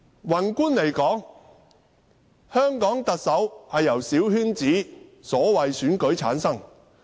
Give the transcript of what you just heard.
宏觀而言，香港特首由小圈子、所謂的選舉產生。